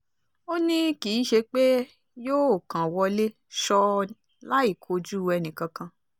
ó ní kì í ṣe pé yóò kàn wọlé ṣọ́ọ́ láì kojú ẹnìkankan